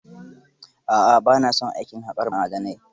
A'a ba na son harkar haƙar ma'adanai.